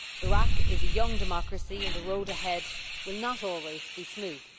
Iraq is a young democracy, and the road ahead will not always be smooth.